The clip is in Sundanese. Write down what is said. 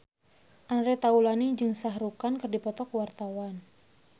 Andre Taulany jeung Shah Rukh Khan keur dipoto ku wartawan